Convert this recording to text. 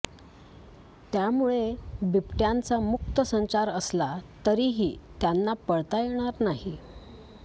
त्यामुळे बिबटयांचा मुक्त संचार असला तरीही त्यांना पळता येणार नाही